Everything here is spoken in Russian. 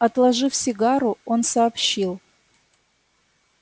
отложив сигару он сообщил